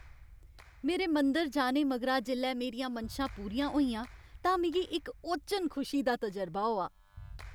मेरे मंदर जाने मगरा जेल्लै मेरियां मनशां पूरियां होइयां तां मिगी इक ओचन खुशी दा तजरबा होआ।